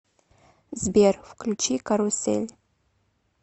сбер включи карусель